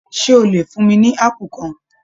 Ṣe o lè fún mí ní apu kan?